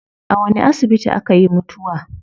A wani asibiti akayi mutuwa?